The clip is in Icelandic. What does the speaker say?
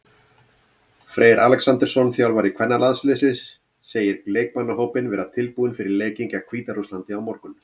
Freyr Alexandersson, þjálfari kvennalandsliðsins, segir leikmannahópinn vera tilbúinn fyrir leikinn gegn Hvíta-Rússlandi á morgun.